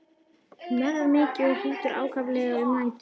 Hnerrar mikið og hrýtur ákaflega um nætur.